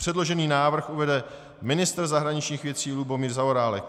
Předložený návrh uvede ministr zahraničních věcí Lubomír Zaorálek.